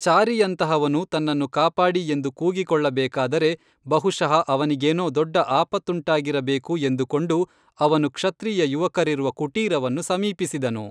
ಚಾರಿಯಂತಹವನು ತನ್ನನ್ನು ಕಾಪಾಡಿ ಎಂದು ಕೂಗಿಕೊಳ್ಳಬೇಕಾದರೆ ಬಹುಶಃ ಅವನಿಗೇನೋ ದೊಡ್ಡ ಆಪತ್ತುಂಟಾಗಿರಬೇಕು ಎಂದುಕೊಂಡು ಅವನು ಕ್ಷತ್ರಿಯ ಯುವಕರಿರುವ ಕುಟೀರವನ್ನು ಸಮೀಪಿಸಿದನು